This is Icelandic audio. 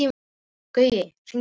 Gaui, hringdu í Laufhildi.